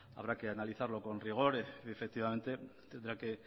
habrá que analizarlo con rigor y efectivamente tendrá que